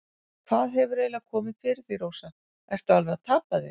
Hvað hefur eiginlega komið fyrir þig, Rósa, ertu alveg að tapa þér?